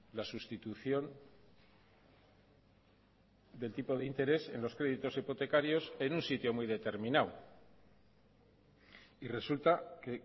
la sustitución del tipo de interés en los créditos hipotecarios en un sitio muy determinado y resulta que